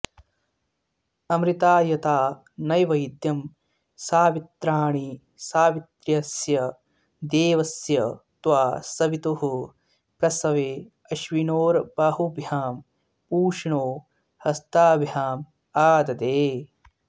अमृतायता नैवेद्यं सावित्राणि सावित्र्यस्य देवस्य त्वा सवितुः प्रसवेऽश्विनोर्बाहुभ्यां पूष्णो हस्ताभ्यामाददे